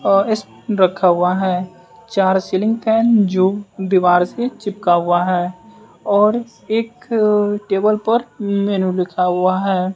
रखा हुआ है। चार सीलिंग फैन जो दीवार से चिपका हुआ है और एक टेबल पर मेनू लिखा हुआ है।